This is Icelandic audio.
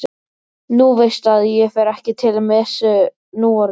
Þú veist að ég fer ekki til messu núorðið.